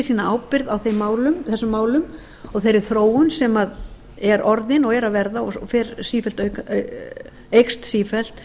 sína ábyrgð á þessum málum og þeirri þróun sem er orðin og er að verða og fer eykst sífellt